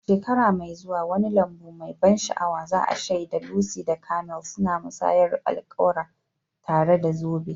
A shekara mai zuwa, wani lambu mai ban sha'awa za'a shaida Lucy da Michael suna musayar alƙawura, tare da zoben.